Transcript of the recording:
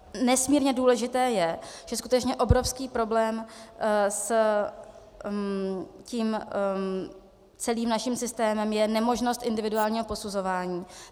Nesmírně důležité je, že skutečně obrovský problém s tím celým naším systémem je nemožnost individuálního posuzování.